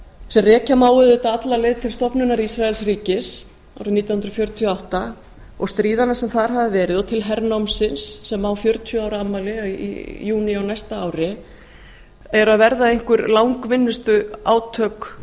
sem rekja má auðvitað alla leið til stofnunar ísraelsríkis árið nítján hundruð fjörutíu og átta og stríðanna sem þar hafa verið og til hernámsins sem á fjörutíu ára afmæli í júní á næsta ári eru að verða einhver langvinnustu átök